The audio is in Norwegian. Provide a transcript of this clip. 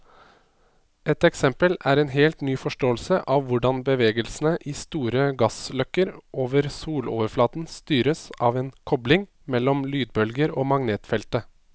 Et eksempel er en helt ny forståelse av hvordan bevegelsen i store gassløkker over soloverflaten styres av en kobling mellom lydbølger og magnetfeltet.